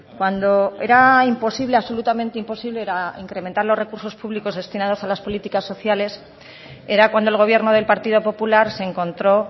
cuando era imposible absolutamente imposible era incrementar los recursos públicos destinados a las políticas sociales era cuando el gobierno del partido popular se encontró